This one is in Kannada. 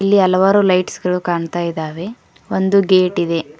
ಇಲ್ಲಿ ಹಲವಾರು ಲೈಟ್ಸ್ ಗಳು ಕಾಣುತ್ತಿದ್ದಾವೆ ಒಂದು ಗೇಟ್ ಇದೆ.